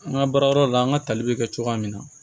An ka baara yɔrɔ la an ka tali bɛ kɛ cogoya min na